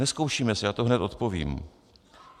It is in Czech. Nezkoušíme se, já to hned odpovím.